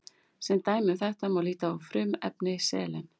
Sem dæmi um þetta má líta á frumefni selen.